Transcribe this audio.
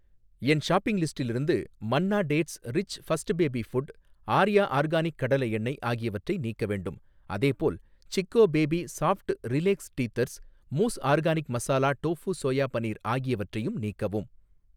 என் shopping லிஸ்டிலிருந்து Manna dates rich first baby food, Arya organic கடலை எண்ணெய் ஆகியவற்றை நீக்க வேண்டும். அதேபோல், Chicco baby soft relax teethers, மூஸ் organic masala tofu soya paneer ஆகியவற்றையும் நீக்கவும்.